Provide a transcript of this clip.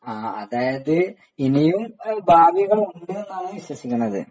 അതായത് ഇനിയും ഭാവികൾ ഉണ്ട് എന്നാണ് വിശ്വസിക്കുന്നത്